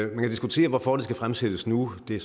man kan diskutere hvorfor det skal fremsættes nu det